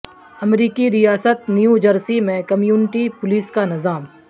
امریکی ریاست New Jersey میں کمیونٹی پولیس کا نظام